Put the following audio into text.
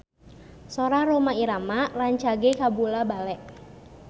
Sora Rhoma Irama rancage kabula-bale